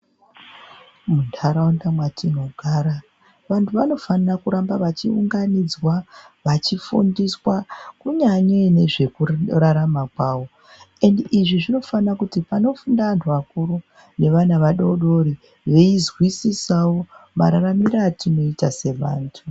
Munharaunda matinogara vantu vanofanira kuramba vachiunganidzwa vachifundiswa kunyanyei nezvekurarama kwavo, endi izvi zvinofanira kuti panofunda antu akuru neana adodori vei zwisisavo mararamiro atinoita sevantu.